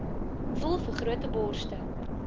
voel vergrote borste